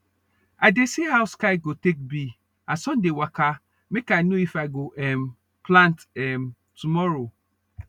i dey see how sky go take be as sun dey waka make i know if i go um plant um tomorrow